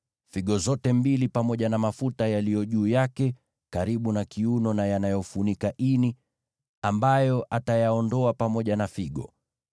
figo zote mbili pamoja na mafuta yaliyo juu yake karibu na kiuno na yanayofunika ini, ambayo atayaondoa pamoja na figo.